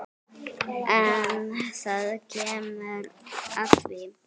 En það kemur að því.